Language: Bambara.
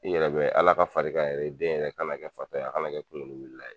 I yɛrɛ bɛ Ala ka far'i kan yɛrɛ i den yɛrɛ kana kɛ fatɔ ye a kana kɛ kunkolo wuli ye.